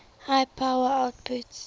high power outputs